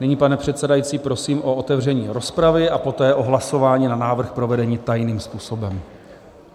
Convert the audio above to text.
Nyní, pane předsedající, prosím o otevření rozpravy a poté o hlasování na návrh provedení tajným způsobem.